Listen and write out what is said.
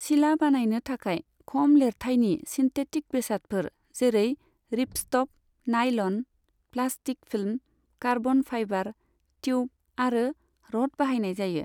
सिला बानायनो थाखाय खम लेरथाइनि सिन्थेटिक बेसादफोर, जेरै ripstop nylon, plastic film, carbon fibre tube आरो र'ड बाहायनाय जायो।